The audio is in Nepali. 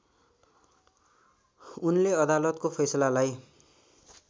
उनले अदलतको फैसलालाई